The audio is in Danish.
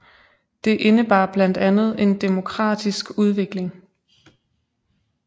Det indebar blandt andet en demokratisk udvikling